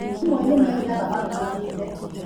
amwe nĩ mainaga marũgamĩte